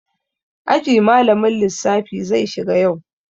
Aji malamin lissafi zai shiga yau.